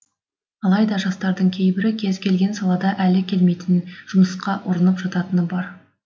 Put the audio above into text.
алайда жастардың кейбірі кез келген салада әлі келмейтін жұмысқа ұрынып жататыны бар